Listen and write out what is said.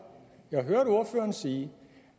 sige